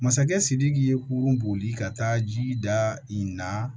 Masakɛ sidiki ye kurun boli ka taa ji da in na